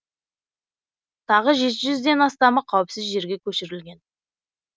тағы жеті жүзден астамы қауіпсіз жерге көшірілген